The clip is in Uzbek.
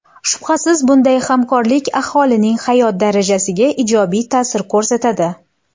Shubhasiz, bunday hamkorlik aholining hayot darajasiga ijobiy ta’sir ko‘rsatadi.